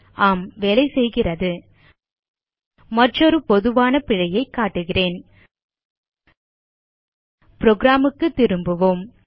ஆம் வேலைசெய்கிறது மற்றொரு பொதுவான பிழையைக் காட்டுகிறேன் புரோகிராம் க்கு திரும்புவோம்